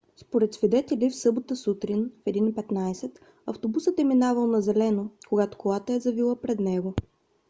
според свидетели в събота сутрин в 1:15 автобусът е минавал на зелено когато колата е завила пред него